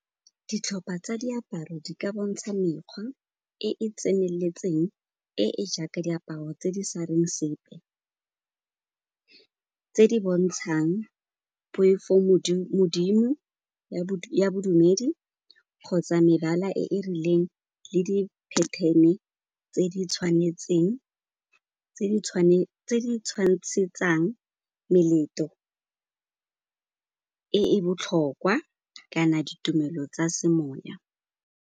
Ditlhopa tsa diaparo di ka bontsha mekgwa e e tseneletseng e e jaaka diaparo tse di sa reng sepe, tse di bontshang poifo-Modimo ya bodumedi kgotsa mebala e e rileng le di pattern-e tse di tshwantshetsang meleto e e botlhokwa kana ditumelo tsa se moya.